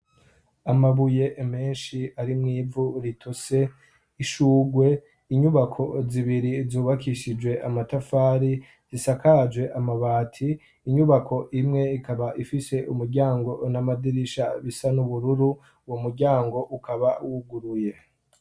amabuye menshi arimw’ivu ritose ishurwe inyubako zibiri zubakishijwe amatafari zisakaje amabati inyubako imwe ikaba ifise umuryango n'amadirisha bisa n'ubururu wo muryango ukaba wuguruye.